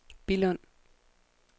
Billund